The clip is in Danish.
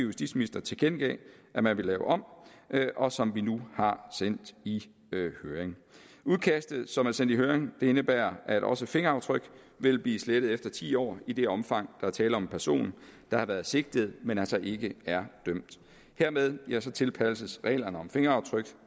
justitsminister tilkendegav man man ville lave om og som vi nu har sendt i høring udkastet som er sendt i høring indebærer at også fingeraftryk vil blive slettet efter ti år i det omfang er tale om en person der har været sigtet men altså ikke er dømt hermed tilpasses reglerne om fingeraftryk